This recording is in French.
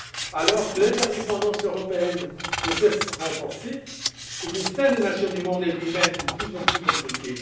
Alors que l'interdépendance européenne ne cesse de se renforcer, le destin des nations du monde est, lui même, de plus en plus imbriqué.